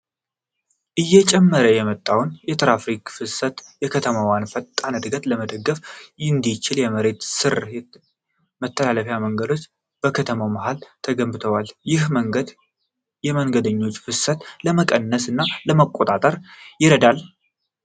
እየጨመረ የመጣውን የትራፊክ ፍሰት እና የከተማዋን ፈጣን ዕድገት ለመደገፍ እንዲቻል የመሬት ስር መተላለፊያ መንገዱ በከተማዋ መሀል ተገንብቷል። ይህ መንገድ የመንገደኞችን ፍሰት ለመቀነስ እና ለመቆጣጠር ይረዳል?